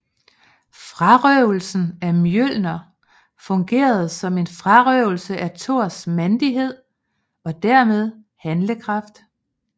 Frarøvelsen af Mjølner fungerede som en frarøvelse af Thors mandighed og dermed handlekraft